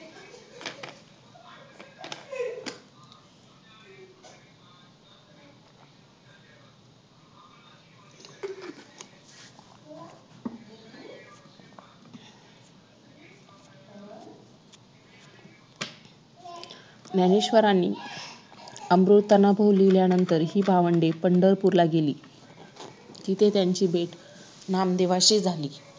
ज्ञानेश्वरांनी अमृतानुभव लिहिल्यानंतर हि भावंडे पंढरपूरला गेली तिथे त्यांची भेट नामदेवांशी झाली